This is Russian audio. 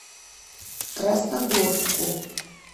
красногорску